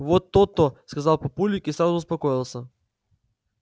вот то-то сказал папулик и сразу успокоился